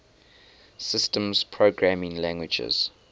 systems programming languages